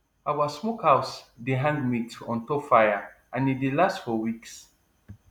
our smokehouse dey hang meat on top fire and e dey last for weeks